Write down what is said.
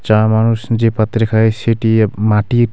চা মানুষ যে পাত্রে খায় সেটি এব মাটির।